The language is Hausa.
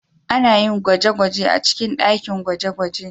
Ana yin gwaje-gwajen a cikin ɗakin gwaje-gwaje.